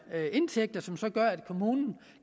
indtægter som så gør at kommunen